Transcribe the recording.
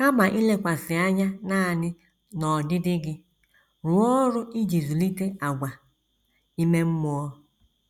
Kama ilekwasị anya nanị n’ọdịdị gị, rụọ ọrụ iji zụlite àgwà ime mmụọ